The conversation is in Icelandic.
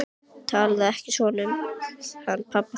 Talaðu ekki svona um hann pabba þinn.